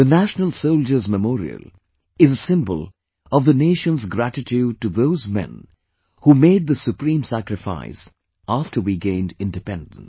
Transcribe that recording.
The National Soldiers' Memorial is a symbol of the nation's gratitude to those men who made the supreme sacrifice after we gained Independence